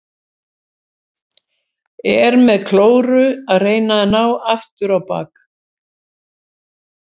Er með klóru að reyna að ná aftur á bak.